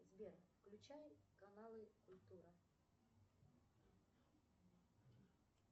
сбер включай каналы культура